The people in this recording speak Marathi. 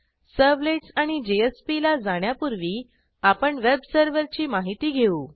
सर्व्हलेट्स आणि JSPला जाण्यापूर्वी आपण वेब सर्व्हरची माहिती घेऊ